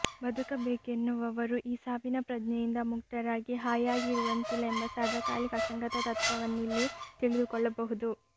ಬದುಕಬೇಕೆನ್ನುವವರೂ ಈ ಸಾವಿನ ಪ್ರಜ್ಞೆಯಿಂದ ಮುಕ್ತರಾಗಿ ಹಾಯಾಗಿ ಇರುವಂತಿಲ್ಲ ಎಂಬ ಸಾರ್ವಕಾಲಿಕ ಅಸಂಗತ ತತ್ವವನ್ನಿಲ್ಲಿ ತಿಳಿದುಕೊಳ್ಳಬಹುದು